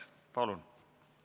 Palun!